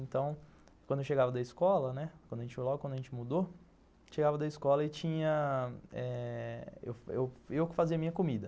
Então, quando eu chegava da escola, né, logo quando a gente mudou, eu chegava da escola e tinha, eu eu que fazia a minha comida.